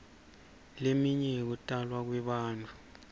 leminye yekutalwa kwebantfu